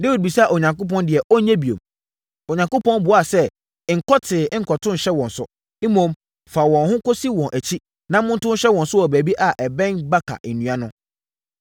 Dawid bisaa Onyankopɔn deɛ ɔnyɛ bio. Onyankopɔn buaa sɛ, “Nkɔ tee nkɔto nhyɛ wɔn so. Mmom, fa wɔn ho kɔsi wɔn akyi na monto nhyɛ wɔn so wɔ baabi a ɛbɛn baka nnua no.